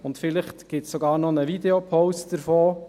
Vielleicht gibt es sogar noch einen Videopost davon.